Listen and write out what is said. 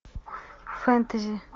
фэнтези